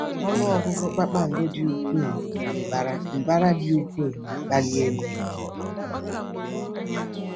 Ọnụ ọgụgụ kpakpando dị ukwuu na mbara mbara dị ukwuu na-akpali egwu.